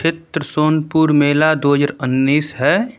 सोनपुर मेला दो हजार उन्नीस है।